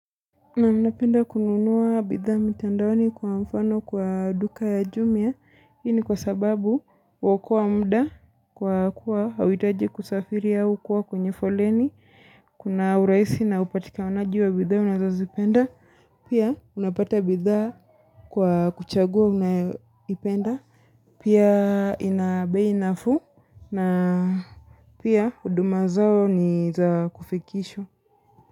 Na mna penda kununua bidha mitandaoni kwa mfano kwa duka ya jumia. Ini kwa sababu wako wa muda kwa kuwa hawitaji kusafiri ya ukuwa kwenye foleni. Kuna urahisi na upatika wanaji wa bidhaa unazazipenda. Pia unapata bidha kwa kuchagua unapenda. Pia inabei nafuu na pia uduma zao ni za kufikisho.